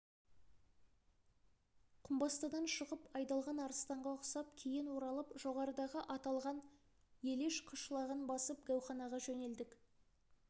құмбастыдан шығып айдалған арыстанға ұқсап кейін оралып жоғарыдағы айтылған елеш қышлағын басып гәуханаға жөнелдік